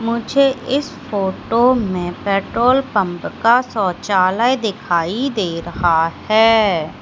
मुझे इस फोटो में पेट्रोल पंप का शौचालय दिखाई दे रहा है।